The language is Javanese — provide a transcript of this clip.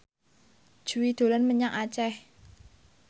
Jui dolan menyang Aceh